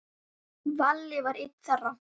Valli var einn þeirra.